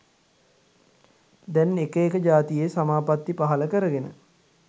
දැන් එක එක ජාතියෙ සමාපත්ති පහළ කරගෙන